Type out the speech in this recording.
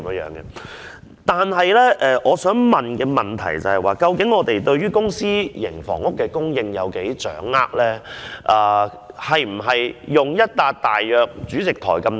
然而，我想問局方對於公私營房屋的供應情況究竟有多大的掌握？